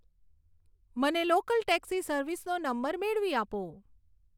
મને local taxi સર્વિસનો number મેળવી આપો